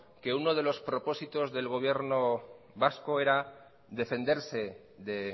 que uno de los propósitos del gobierno vasco era defenderse de